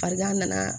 Farigan nana